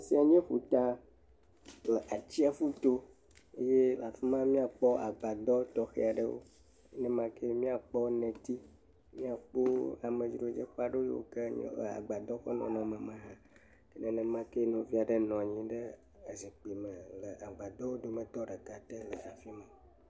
tiɔwo yɔ ƒuta le atsiaƒu aɖe to ye afima miakpɔ agbadɔ tɔxɛaɖewo nemake miakpɔ neti miakpo amedro dzeƒe yike le agbadɔ ƒe nɔnɔme me hã, nenemakeɛ maɖewo nɔviaɖe nɔnyi ɖe zikpi me le agbadɔwo dometɔ ɖeka te le afima